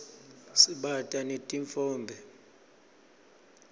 sibata netitfombe